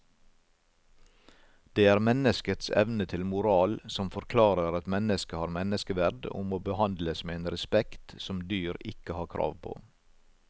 Det er menneskets evne til moral som forklarer at mennesket har menneskeverd og må behandles med en respekt som dyr ikke har krav på.